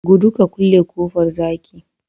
gudu ka kulle kofar zaki